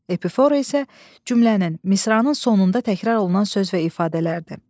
Epifora isə cümlənin, misranın sonunda təkrar olunan söz və ifadələrdir.